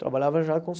Trabalhava já com